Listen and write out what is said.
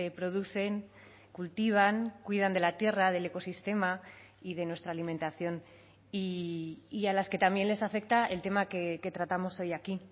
producen cultivan cuidan de la tierra del ecosistema y de nuestra alimentación y a las que también les afecta el tema que tratamos hoy aquí